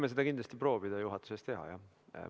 Me võime proovida juhatuses seda teha, jah.